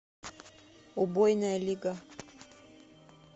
убойная лига